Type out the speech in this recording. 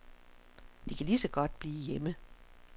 De kan lige så godt blive hjemme.